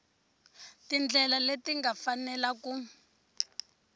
tindlela leti nga fanela ku